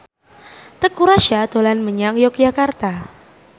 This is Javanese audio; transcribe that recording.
Teuku Rassya dolan menyang Yogyakarta